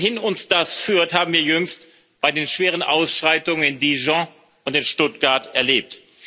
Wohin uns das führt, haben wir jüngst bei den schweren Ausschreitungen in Dijon und in Stuttgart erlebt.